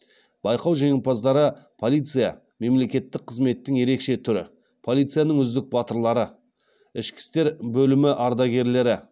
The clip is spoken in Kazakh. байқау жеңімпаздары полиция мемлекеттік қызметтің ерекше түрі полицияның үздік батырлары ішкі істер бөлімі ардагерлері